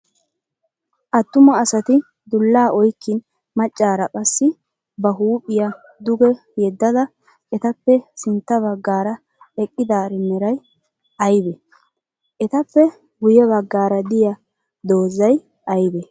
Attuma asati dullaa oyikkin maccaara qassi ba huuphiya duge yeddada etappe sintta baggaara eqqidaari meray ayibee? Etappe guyye baggaara diya dozzay ayibee?